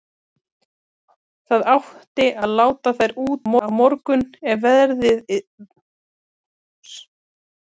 Það átti að láta þær út á morgun ef veðrið yrði gott.